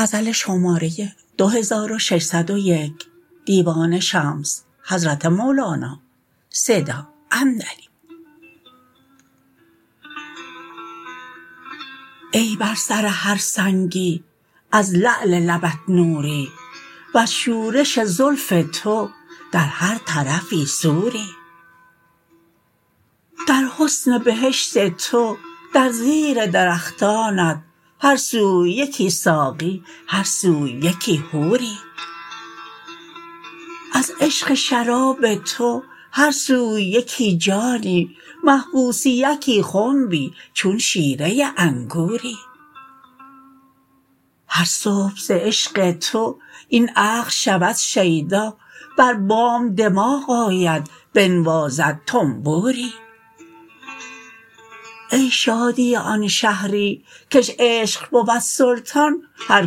ای بر سر هر سنگی از لعل لبت نوری وز شورش زلف تو در هر طرفی سوری در حسن بهشت تو در زیر درختانت هر سوی یکی ساقی هر سوی یکی حوری از عشق شراب تو هر سوی یکی جانی محبوس یکی خنبی چون شیره انگوری هر صبح ز عشق تو این عقل شود شیدا بر بام دماغ آید بنوازد طنبوری ای شادی آن شهری کش عشق بود سلطان هر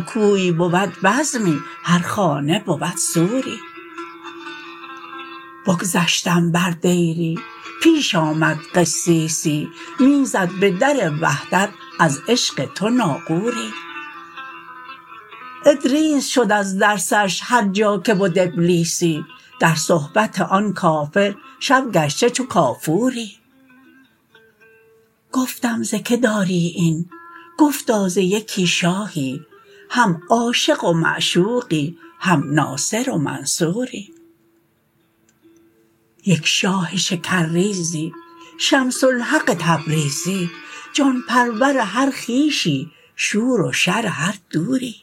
کوی بود بزمی هر خانه بود سوری بگذشتم بر دیری پیش آمد قسیسی می زد به در وحدت از عشق تو ناقوری ادریس شد از درسش هر جا که بد ابلیسی در صحبت آن کافر شب گشته چون کافوری گفتم ز که داری این گفتا ز یکی شاهی هم عاشق و معشوقی هم ناصر و منصوری یک شاه شکرریزی شمس الحق تبریزی جان پرور هر خویشی شور و شر هر دوری